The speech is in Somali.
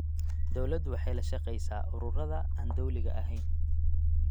Dawladdu waxay la shaqaysaa ururada aan dawliga ahayn.